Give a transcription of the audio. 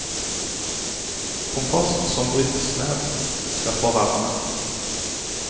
Kompost som brytes ned, skaper varme.